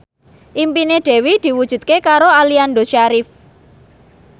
impine Dewi diwujudke karo Aliando Syarif